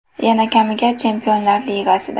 Yana kamiga Chempionlar Ligasida.